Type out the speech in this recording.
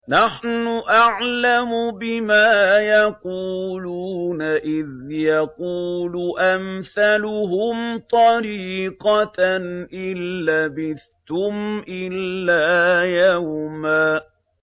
نَّحْنُ أَعْلَمُ بِمَا يَقُولُونَ إِذْ يَقُولُ أَمْثَلُهُمْ طَرِيقَةً إِن لَّبِثْتُمْ إِلَّا يَوْمًا